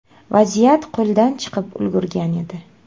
Vaziyat qo‘ldan chiqib ulgurgan edi.